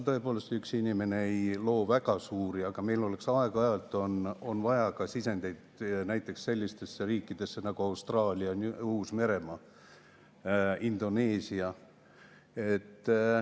Tõepoolest, üks inimene ei loo väga suuri, aga meil on aeg-ajalt vaja sisendeid ka näiteks sellistesse riikidesse nagu Austraalia ja Uus-Meremaa, Indoneesia.